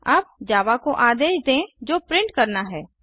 अब जावा को आदेश देंजो प्रिंट करना है